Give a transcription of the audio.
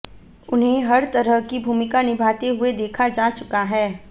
उन्हें हर तरह की भूमिका निभाते हुए देखा जा चुका है